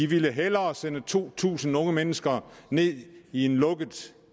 ville hellere sende to tusind unge mennesker ned i en